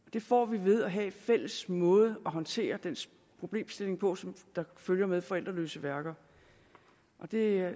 det får vi ved at have en fælles måde at håndtere den problemstilling på som følger med forældreløse værker det er